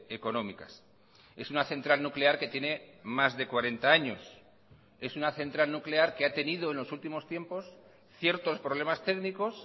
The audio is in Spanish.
económicas es una central nuclear que tiene más de cuarenta años es una central nuclear que ha tenido en los últimos tiempos ciertos problemas técnicos